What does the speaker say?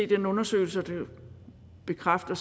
den undersøgelse som bekræfter